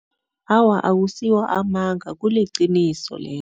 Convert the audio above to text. Awa, akusiwo amanga. Kuliqiniso lelo.